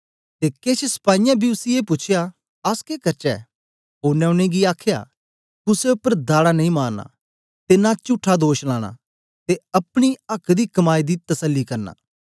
ते केछ सपाईयें बी उसी ए पूछया अस के करचै ओनें उनेंगी आखया कुसे उपर धाड़ा नेई मारना ते न चुट्ठा दोष लाना ते अपनी आक्क दी कमाई दी तसली करना